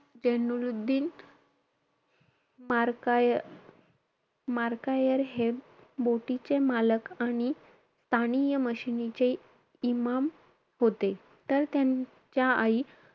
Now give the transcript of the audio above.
जेनुलुद्दीन मार्काय~ मार्कायर हे बोटीचे मालक आणि स्थानीय मशीनीचे इमाम होते. तर त्यांच्या आई,